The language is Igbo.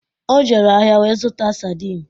O jere ahịa wee zụta sardin